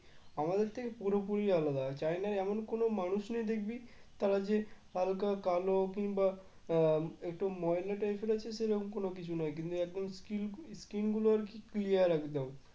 আমাদের থেকে পুরোপুরি আলাদা চায়নায় এমন কোন মানুষ নেই দেখবি তারা যে হালকা কালো কিংবা আহ একটু ময়লা type এর আছে সেরম কোন কিছু নাই কিন্তু একদম skil skin গুলো আরকি clear একদম